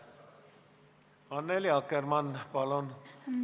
Annely Akkermann, palun!